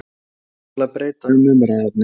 spyr hann til að breyta um umræðuefni.